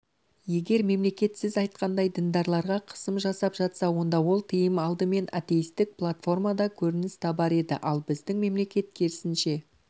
егер мемлекет сіз айтқандай діндарларға қысым жасап жатса онда ол тыйым алдымен атеистік платформада көрініс табар еді ал біздің мемлекет керісінше